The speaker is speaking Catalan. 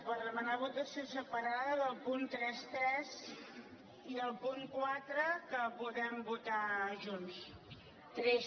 per demanar votació separada del punt trenta tres i el punt quatre que els podrem votar junts